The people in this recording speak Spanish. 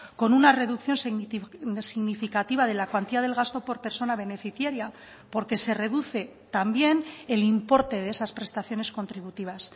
con una reducción significativa de la cuantía del gasto por persona beneficiaria porque se reduce también el importe de esas prestaciones contributivas